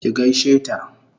ki gaishe ta!